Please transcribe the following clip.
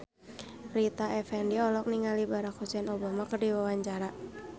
Rita Effendy olohok ningali Barack Hussein Obama keur diwawancara